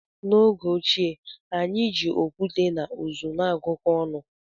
N'oge ochie, anyị na-eji okwute na uzu na-agụkọ ọnụ.